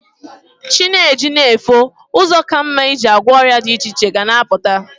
Chi na-eji na-efo, ụzọ ka mma i ji gwọ ọrịa dị iche iche ga na-apụta.